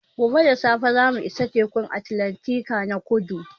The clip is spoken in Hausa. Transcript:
Gobe da safe za mu isa Tekun Atlantika na kudu